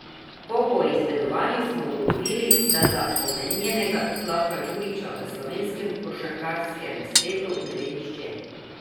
Po poizvedovanju smo ugotovili, da za omenjenega Slavka Djurića v slovenskem košarkarskem svetu ne ve nihče.